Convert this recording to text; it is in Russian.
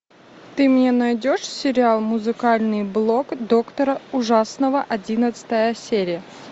ты мне найдешь сериал музыкальный блог доктора ужасного одиннадцатая серия